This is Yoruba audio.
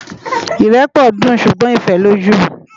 Irèpò dún súgbòn Ifèlójú